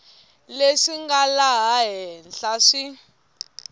leswi nga laha henhla swi